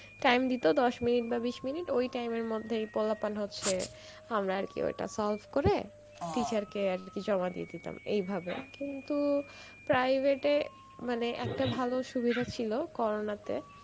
time দিত দশ minute বা বিশ minute ওই time এর মধ্যেই পোলাপান হচ্ছে, আমরা আরকি ওটা solve করে teacher কে আর কি জমা দিয়ে দিতাম এই ভাবে কিন্তু private এ মানে একটা ভালো সুবিধা ছিল corona তে